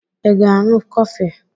I ga ịṅụ kofi?